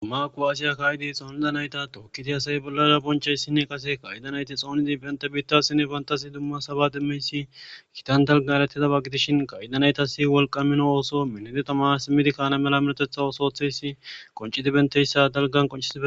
Dumaku asiya kaayidi xoonida nayta tookkiti asay bollara bonchayssinne qase kaydanayti xoonidi pente biittasinne pantasi dumma saba dimmeysi kitan dalga eletidaba gidishin qaydanaytasi wolqa mino ooso minide tama simmidi kaana mela milotetha osootheysi qoncidi benteyssa dalgan qocidea